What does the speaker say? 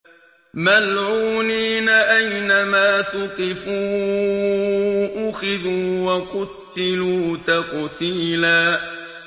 مَّلْعُونِينَ ۖ أَيْنَمَا ثُقِفُوا أُخِذُوا وَقُتِّلُوا تَقْتِيلًا